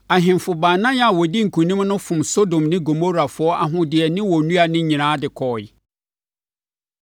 Ahemfo baanan a wɔdii nkonim no fom Sodom ne Gomorafoɔ ahodeɛ ne wɔn nnuane nyinaa de kɔeɛ.